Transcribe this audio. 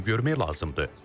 Gözləyib görmək lazımdır.